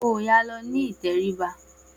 Oòya lọ ní ìtẹríba